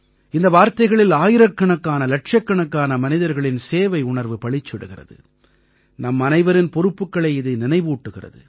இந்த வார்த்தைகளில் ஆயிரக்கணக்கானஇலட்சக்கணக்கான மனிதர்களின் சேவையுணர்வு பளிச்சிடுகிறது நம்மனைவரின் பொறுப்புக்களை இது நினைவூட்டுகிறது